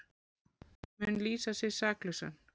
Mun lýsa sig saklausan